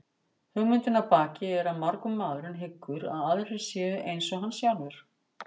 Hugmyndin að baki er að margur maðurinn hyggur að aðrir séu eins og hann sjálfur.